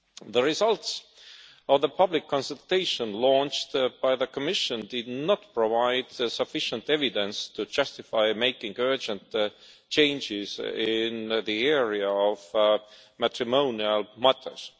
The results of the public consultation undertaken by the Commission did not provide sufficient evidence to justify making urgent changes in the area of matrimonial matters.